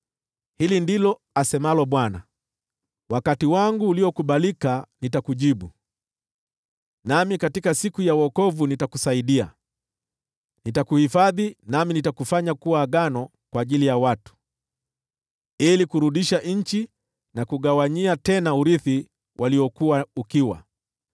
Hili ndilo asemalo Bwana : “Wakati wangu uliokubalika nitakujibu, nami katika siku ya wokovu nitakusaidia; nitakuhifadhi, nami nitakufanya kuwa agano kwa ajili ya watu, ili kurudisha nchi na kugawanyia urithi tena wale waliokuwa ukiwa,